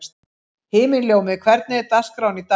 Himinljómi, hvernig er dagskráin í dag?